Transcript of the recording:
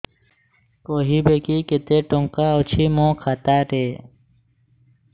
କହିବେକି କେତେ ଟଙ୍କା ଅଛି ମୋ ଖାତା ରେ